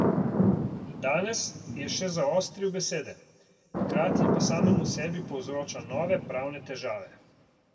Danes je še zaostril besede, hkrati pa samemu sebi povzroča nove pravne težave.